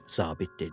Zabit dedi: